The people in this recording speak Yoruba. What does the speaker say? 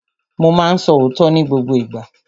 Mo ma ń sọ òótọ́ ní gbogbo ìgbà.